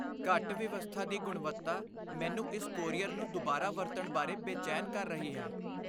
ਘੱਟ ਵਿਵਸਥਾ ਦੀ ਗੁਣਵੱਤਾ ਮੈਨੂੰ ਇਸ ਕੋਰੀਅਰ ਨੂੰ ਦੁਬਾਰਾ ਵਰਤਣ ਬਾਰੇ ਬੇਚੈਨ ਕਰ ਰਹੀ ਹੈ।